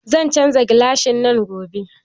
Zan canja gilasin nan gobe